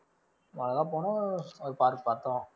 பார்த்தோம்.